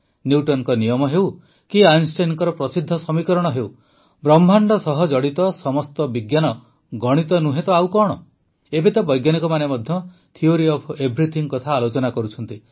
ନ୍ୟୁଟନଙ୍କ ନିୟମ ହେଉ କି ଆଇନଷ୍ଟାଇନଙ୍କ ପ୍ରସିଦ୍ଧ ସମୀକରଣ ହେଉ ବ୍ରହ୍ମାଣ୍ଡ ସହ ଜଡ଼ିତ ସମସ୍ତ ବିଜ୍ଞାନ ଗଣିତ ନୁହେଁ ତ ଆଉ କଣ ଏବେ ତ ବୈଜ୍ଞାନିକମାନେ ମଧ୍ୟ ଥିଓରି ଅଫ୍ ଏଭ୍ରିଥିଙ୍ଗ୍ କଥା ଆଲୋଚନା କରୁଛନ୍ତି